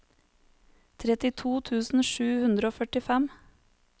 trettito tusen sju hundre og førtifem